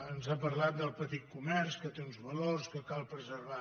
ens ha parlat del petit comerç que té uns valors que cal preservar